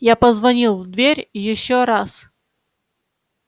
я позвонил в дверь ещё раз